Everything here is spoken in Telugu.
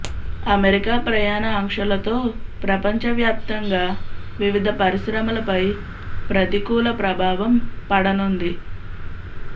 అమెరికా ప్రయాణ ఆంక్షలతో ప్రపంచవ్యాప్తంగా వివిధ పరిశ్రమలపై ప్రతికూల ప్రభావం పడనుంది